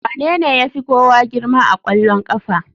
Wanene ya fi kowa girma a ƙwallon ƙafa?